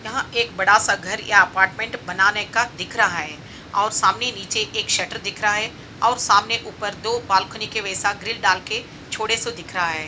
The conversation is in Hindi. यह एक बड़ा सा घर या अपार्टमेंट बनाने का दिख रहा है| और सामने नीचे एक शटर दिख रहा है और सामने ऊपर दो बालकनी के वैसा ग्रिल डाल के छोड़े सो दिख रहा है।